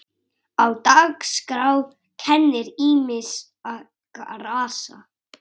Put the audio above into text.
Á dagskrá kennir ýmissa grasa.